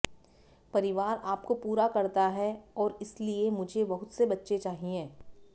परिवार आपको पूरा करता है और इसलिए मुझे बहुत से बच्चे चाहिए